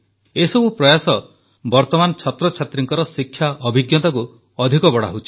ଏସବୁ ପ୍ରୟାସ ବର୍ତ୍ତମାନ ଛାତ୍ରଛାତ୍ରୀଙ୍କ ଶିକ୍ଷା ଅଭିଜ୍ଞତାକୁ ଅଧିକ ବଢ଼ାଉଛି